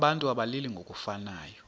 abantu abalili ngokufanayo